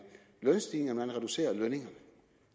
lønstigningerne man reducerer lønningerne